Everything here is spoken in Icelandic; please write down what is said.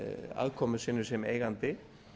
aðkomu sinni sem eigandi